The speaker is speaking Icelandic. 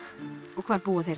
og hvar búa þeir